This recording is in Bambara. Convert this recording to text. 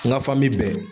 N ka fan min bɛɛ